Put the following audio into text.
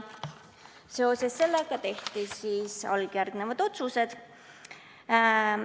Seoses sellega tehti alljärgnevad otsused.